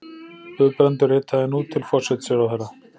Guðbrandur ritaði nú til forsætisráðherra